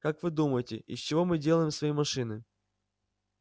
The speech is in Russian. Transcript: как вы думаете из чего мы делаем свои машины